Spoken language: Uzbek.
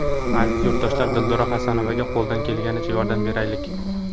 Aziz yurtdoshlar, Dildora Xasanovaga qo‘ldan kelgunicha yordam beraylik!